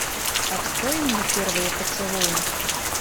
открой мне первые поцелуи